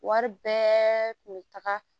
Wari bɛɛ kun bɛ taga